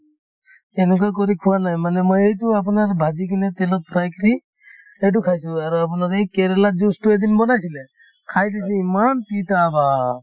সেনেকুৱা কৰি খোৱা নাই মানে মই এইটো আপোনাৰ ভাজি কিনে তেলত fry কৰি সেইটো খাইছো আৰু আপোনাৰ এই কেৰেলাৰ juice তো এদিন বনাইছিলে খাই দি যি ইমান তিতা বাহ !